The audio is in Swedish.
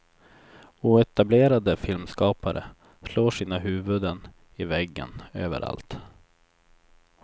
Oetablerade filmskapare slår sina huvuden i väggen, överallt.